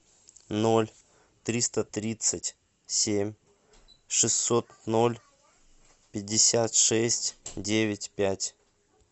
ноль триста тридцать семь шестьсот ноль пятьдесят шесть девять пять